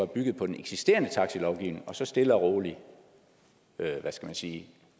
bygget på den eksisterende taxilovgivning og så stille og roligt hvad skal man sige